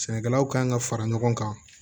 Sɛnɛkɛlaw kan ka fara ɲɔgɔn kan